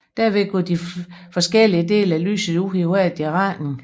Derved går de forskellige dele af lyset ud i hver sin retning